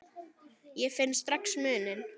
Ég finn strax muninn.